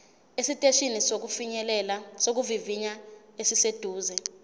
esiteshini sokuvivinya esiseduze